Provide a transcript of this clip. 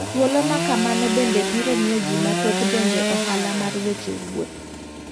Thuolo makamano bende biro miyo ji mathoth donje ohala mar weche wuoth.